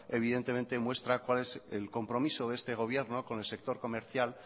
evidentemente muestra cuál es el compromiso de este gobierno con el sector comercial